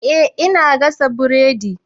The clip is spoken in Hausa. Eh ina gasa buredi.